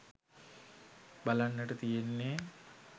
බලන්නට තියෙන්නේ